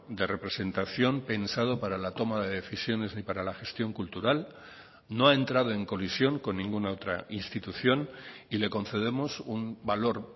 de representación pensado para la toma de decisiones ni para la gestión cultural no ha entrado en colisión con ninguna otra institución y le concedemos un valor